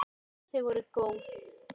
Þau voru góð!